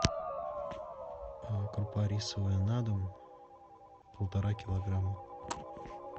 крупа рисовая на дом полтора килограмма